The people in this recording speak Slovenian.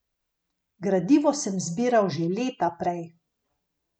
Gradivo sem zbiral že leta prej.